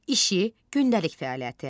İşi gündəlik fəaliyyəti.